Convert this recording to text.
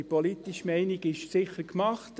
Die politische Meinung ist sicher gemacht.